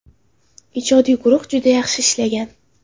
Ijodiy guruh juda yaxshi ishlagan.